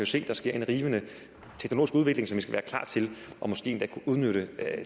se at der sker en rivende teknologisk udvikling som vi skal være klar til og måske endda kunne udnytte